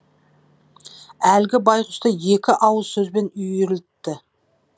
әлгі байғұсты екі ауыз сөзбен үйірілтті